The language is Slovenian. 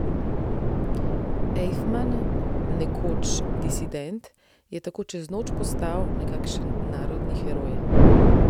Ejfman, nekoč disident, je tako čez noč postal nekakšen narodni heroj ...